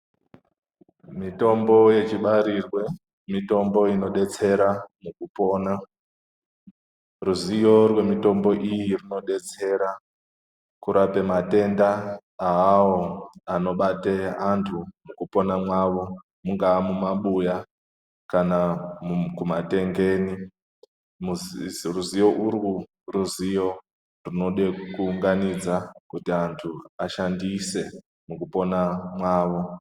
mitombo yechibarirwe mitombo inobetsera mukupona. Ruzivo rwemitombo iyi runobetsera kurape matenda avavo anobate vantu mukupona mwavo mungaa mumabhuya kana kumatengeni. Ruzivo urwu ruzivo rwunode kuunganidza kuti antu ashandise mukupona mwavo.